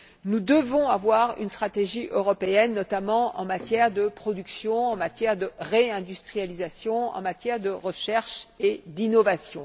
Nous devons avoir une stratégie européenne, notamment en matière de production, en matière de réindustrialisation, en matière de recherche et d'innovation.